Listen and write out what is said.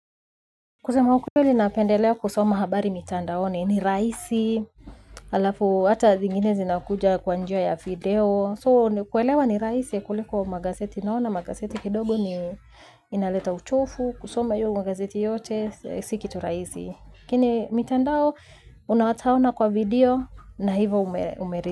Kusema ukweli napendelea kusoma habari mitandaoni ni rahisi. Halafu hata zingine zinakuja kwa njia ya video So kuelewa ni rahisi kuliko kwa magazeti naona. Magazeti kidogo ni inaleta uchovu. Kusoma hiyo magazeti yote si kitu rahisi lakini mitandao unahataona kwa video na hivyo umerezi.